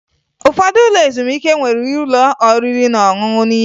Ụfọdụ ụlọ ezumike nwere ụlọ oriri na ọṅụṅụ n'ime ya